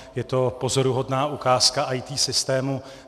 Je to pozoruhodná ukázka IT systému.